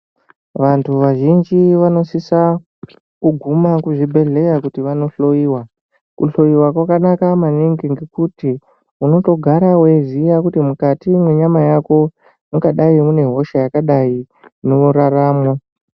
Vantu vazhinji vanosisa kuguma kuzvibhedhleya kuti vanohloyiwa, kuhloyiwa kwakanaka maningi ngokuti unotogara weiziya kuti mukati mwenyama yako mungadai mune hosha yakadai inoraramwo.